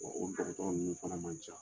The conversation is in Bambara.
O tɔgɔtɔrɔ ninnu sara man ca.